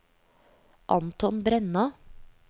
Anton Brenna